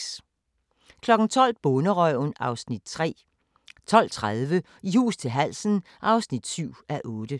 12:00: Bonderøven (Afs. 3) 12:30: I hus til halsen (7:8)